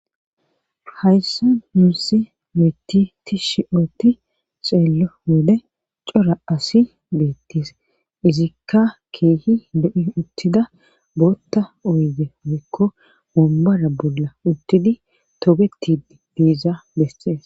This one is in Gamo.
hayssi nuusi lo'eyti tishshi ootti xeello wode cora asi beettis izikka keehi lo'i uttida bootta oyidde woykko wombara bolla uttidi togetid biiza besees